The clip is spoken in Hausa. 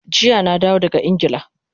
Jiya na dawo daga Ingila